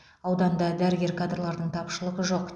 ауданда дәрігер кадрлардың тапшылығы жоқ